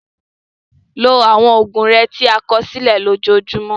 Lo àwọn oògùn rẹ tí a kọ sílẹ̀ lójoojúmọ́.